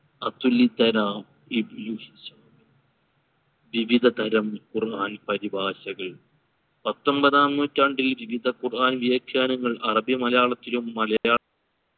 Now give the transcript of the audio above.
അതുലിതരാം വിവിധ തരം ഖുർആൻ പരിഭാഷകൾ പത്തൊൻപതാം നൂറ്റാണ്ടിൽ വിവിധ ഖുർആൻ വ്യാഖ്യാനങ്ങൾ അറബി മലയാളത്തിലാ